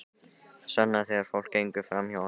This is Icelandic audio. Svenna þegar fólk gengur framhjá honum.